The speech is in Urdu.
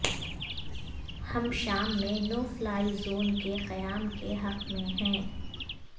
ہم شام میں نو فلائی زون کے قیام کے حق میں ہیں